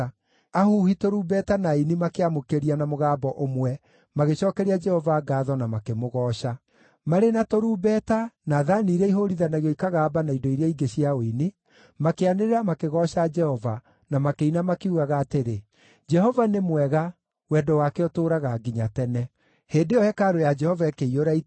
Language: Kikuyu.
Ahuhi tũrumbeta na aini makĩamũkĩria na mũgambo ũmwe magĩcookeria Jehova ngaatho na makĩmũgooca. Marĩ na tũrumbeta, na thaani iria ihũũrithanagio ikagamba na indo iria ingĩ cia ũini, makĩanĩrĩra makĩgooca Jehova na makĩina makiugaga atĩrĩ: “Jehova nĩ mwega; wendo wake ũtũũraga nginya tene.” Hĩndĩ ĩyo hekarũ ya Jehova ĩkĩiyũra itu,